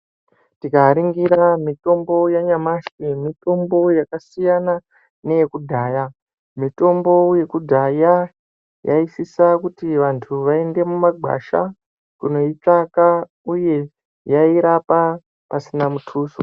Tikaringira mitombo yanyamashi mitombo yakasiyana neyekudhaya. Mitombo yekudhaya yaisisa kuti vantu vaende mumagwasha kunoitsvaka uye yairapa pasina mutuso.